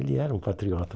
Ele era um patriota.